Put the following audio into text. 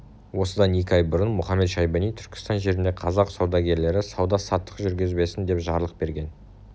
осыдан екі ай бұрын мұхамед-шайбани түркістан жерінде қазақ саудагерлері сауда-саттық жүргізбесін деп жарлық берген